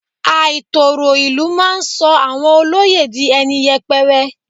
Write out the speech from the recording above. Àìtòrò ìlú máa sọ àwọn olóyè di ẹni yẹpẹrẹ.